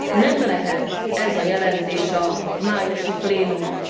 nem lehet ez a jelentés a májusi plénumon.